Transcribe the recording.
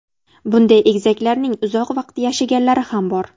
Bunday egizaklarning uzoq vaqt yashaganlari ham bor.